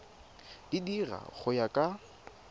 di dira go ya ka